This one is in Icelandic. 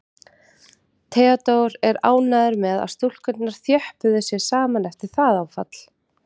Theodór er ánægður með að stúlkurnar þjöppuðu sig saman eftir það áfall.